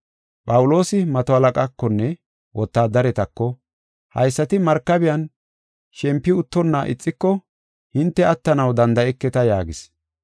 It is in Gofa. Phawuloosi mato halaqaakonne wotaadaretako, “Haysati markabiyan shempi uttonna ixiko hinte attanaw danda7eketa” yaagis.